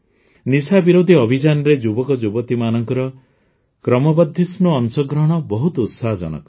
ନିଶା ବିରୋଧୀ ଅଭିଯାନରେ ଯୁବକଯୁବତୀମାନଙ୍କର କ୍ରମବର୍ଦ୍ଧିଷ୍ଣୁ ଅଂଶଗ୍ରହଣ ବହୁତ ଉତ୍ସାହଜନକ